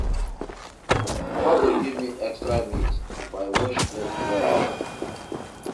Mama go give me extra meat if I wash plate well well.